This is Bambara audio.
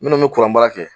Minnu bɛ kuranbaara kɛ